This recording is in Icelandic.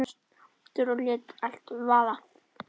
Hann var rosa æstur og lét allt vaða.